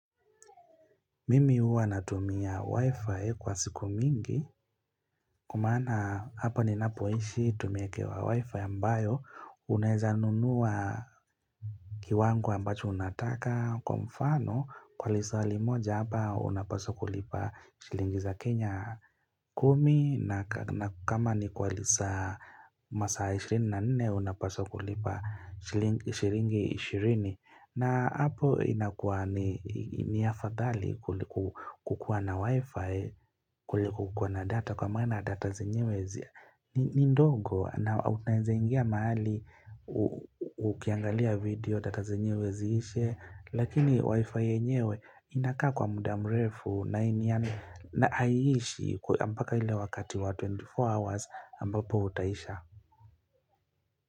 Mimi huwa natumia wifi kwa siku mingi Kwa maana hapa ninapoishi tumeekewa wifi ambayo Unaezanunua kiwango ambacho unataka kwa mfano Kwa lisali moja hapa unapaswa kulipa shilingi za Kenya kumi na kama ni kwa lisa masaa ishirini na nne unapaswa kulipa shilingi shilingi ishirini na hapo inakua ni afadhali kukua na wifi, kuliko kukua na data kwa maana data zenyewe. Ni ndogo na utaeza ingia mahali ukiangalia video data zenyewe ziishe. Lakini wifi enyewe inakaa kwa muda mrefu na haiishi mpaka ile wakati wa 24 hours ambapo utaisha.